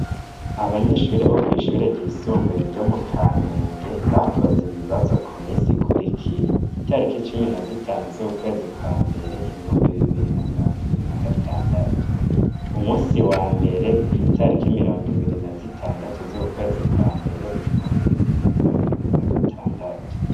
Abanyeshure bo kw'ishure ryisumbuye ryo mu Kamenge, bakoze ibibazo ku misi ikurikira, itariki cumi na zitanu z'ukwezi kwa mbere ibihumbi bibiri na mirongo ibiri na gatandatu, umusi wa mbere kw'itariki mirongo ibiri na zitandatu z'ukwezi kwa mbere ibihumbi bibiri na mirongo ibiri na gatandatu.